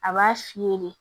A b'a fiyɛ de